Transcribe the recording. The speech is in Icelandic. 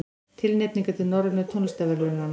Tilnefningar til Norrænu tónlistarverðlaunanna